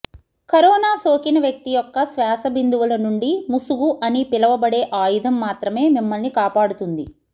corona సోకిన వ్యక్తి యొక్క శ్వాస బిందువుల నుండి ముసుగు అని పిలువబడే ఆయుధం మాత్రమే మిమ్మల్ని కాపాడుతుంది